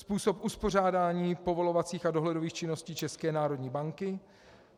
Způsob uspořádání povolovacích a dohledových činností České národní banky.